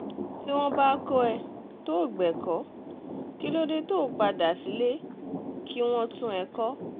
tí wọ́n bá kọ́ ẹ tó o o gbẹ̀kọ́ kí ló dé tó o padà sílé kí wọ́n tún ẹ kọ́